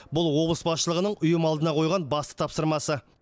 бұл облыс басшылығының ұйым алдына қойған басты тапсырмасы